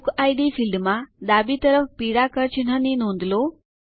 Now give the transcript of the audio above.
બુકિડ ફિલ્ડમાં ડાબી તરફ પીળા કળ ચિહ્ન ની નોંધ લો